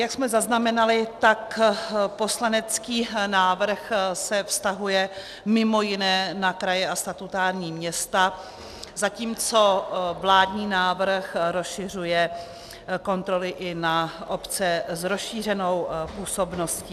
Jak jsme zaznamenali, tak poslanecký návrh se vztahuje mimo jiné na kraje a statutární města, zatímco vládní návrh rozšiřuje kontroly i na obce s rozšířenou působností.